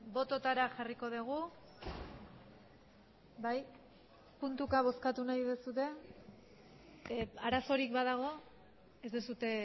bototara jarriko dugu bai puntuka bozkatu nahi duzue arazorik badago ez duzue